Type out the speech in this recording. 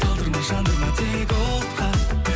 талдырма жандырма тек отқа